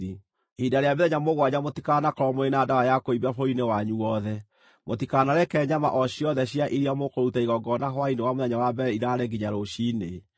Ihinda rĩa mĩthenya mũgwanja mũtikanakorwo mũrĩ na ndawa ya kũimbia bũrũri-inĩ wanyu wothe. Mũtikanareke nyama o ciothe cia iria mũkũruta igongona hwaĩ-inĩ wa mũthenya wa mbere iraare nginya rũciinĩ.